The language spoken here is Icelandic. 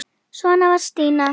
Svona var Stína.